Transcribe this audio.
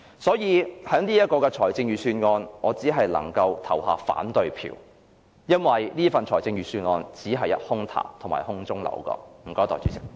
所以，對於這份預算案，我只能投反對票，因為這份預算案只是空談和空中樓閣。